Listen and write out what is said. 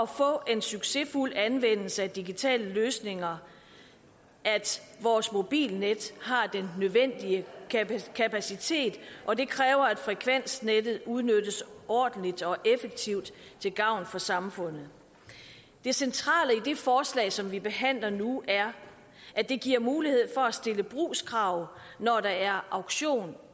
får en succesfuld anvendelse af digitale løsninger at vores mobilnet har den nødvendige kapacitet og det kræver at frekvensnettet udnyttes ordentligt og effektivt til gavn for samfundet det centrale i det forslag som vi behandler nu er at det giver mulighed for at stille brugskrav når der er auktion